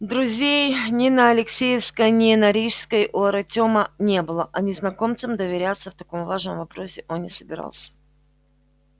друзей ни на алексеевской ни на рижской у артёма не было а незнакомцам доверяться в таком важном вопросе он не собирался